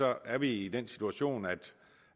er vi i den situation at